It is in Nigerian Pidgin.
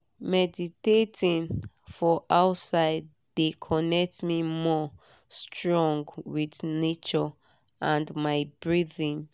meditating for outside de connect me more strong with nature and my breathing.